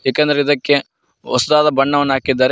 ಏಕೆಂದರೆ ಇದಕ್ಕೆ ಹೊಸದಾದ ಬಣ್ಣವನ್ನು ಹಾಕಿದ್ದಾರೆ.